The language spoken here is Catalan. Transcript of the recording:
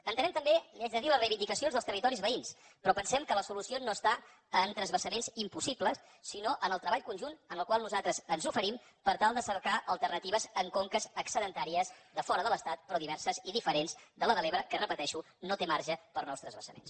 entenem també li ho haig de dir les reivindicacions dels territoris veïns però pensem que la solució no està en transvasaments impossibles sinó en el treball conjunt en el qual nosaltres ens oferim per tal de cercar alternatives en conques excedentàries de fora de l’estat però diverses i diferents de la de l’ebre que ho repeteixo no té marge per a nous transvasaments